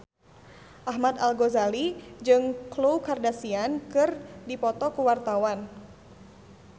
Ahmad Al-Ghazali jeung Khloe Kardashian keur dipoto ku wartawan